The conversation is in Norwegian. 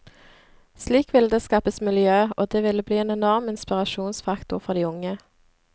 Slik ville det skapes miljø, og det ville bli en enorm inspirasjonsfaktor for de unge.